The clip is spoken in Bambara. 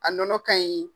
A nɔnɔ ka ɲi